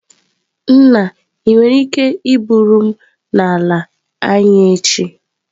Nna, ị nwere ike iburu m n'ala anyi echi?